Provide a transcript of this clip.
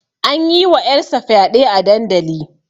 An yi wa ƴar sa fyaɗe a dandali